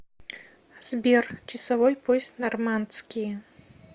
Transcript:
сбер часовой пояс нормандские